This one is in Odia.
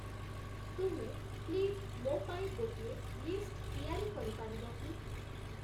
ତୁମେ ପ୍ଳିଜ୍‌ ମୋ ପାଇଁ ଗୋଟିଏ ଲିଷ୍ଟ୍‌ ତିଆରି କରିପାରିବ କି?